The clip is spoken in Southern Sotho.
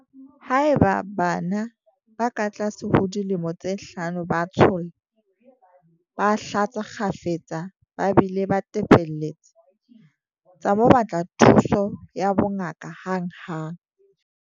Haeba bana ba katlase ho dilemo tse hlano ba tsholla, ba hlatsa kgafetsa ba bile ba tepelletse, tsa mo batla thuso ya bongaka hanghang.